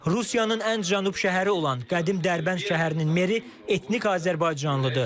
Rusiyanın ən cənub şəhəri olan qədim Dərbənd şəhərinin meri etnik azərbaycanlıdır.